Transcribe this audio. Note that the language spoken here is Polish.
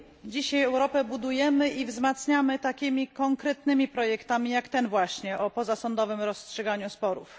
Dzisiaj Europę budujemy i wzmacniamy takimi konkretnymi projektami, jak ten właśnie, o pozasądowym rozstrzyganiu sporów.